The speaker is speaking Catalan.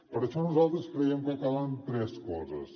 per això nosaltres creiem que calen tres coses